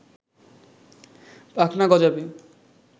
পাখনা গজাবে